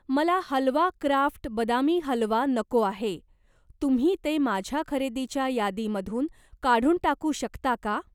मला हलवा क्राफ्ट बदामी हलवा नको आहे, तुम्ही ते माझ्या खरेदीच्या यादीमधून काढून टाकू शकता का?